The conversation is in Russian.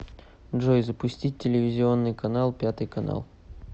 джой запустить телевизионный канал пятый канал